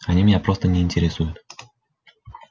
они меня просто не интересуют